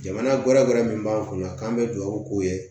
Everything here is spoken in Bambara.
Jamana wɛrɛ gɛrɛ min b'an kun na k'an bɛ dugawu k'o ye